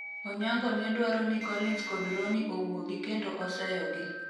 Onyango ne dwaro ni colins kod Roni owuogi kendo oseyogi